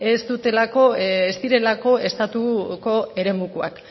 ez dutelako ez direlako estatuko eremukoak